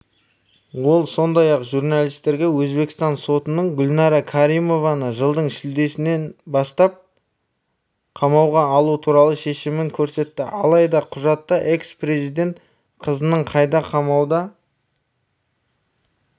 ол сондай-ақ журналистерге өзбекстан сотының гүлнара каримованы жылдың шілдесінен бастап қамауға алу туралы шешімін көрсетті алайда құжатта экс-президент қызының қайда қамауда